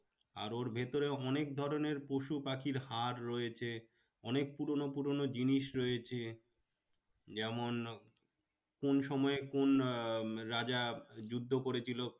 আর ওর ভেতরে অনেক ধরণের পশুপাখির হাড় রয়েছে। অনেক পুরোনো পুরোনো জিনিস রয়েছে। যেমন কোন সময় কোন আহ রাজা যুদ্ধ করেছিল?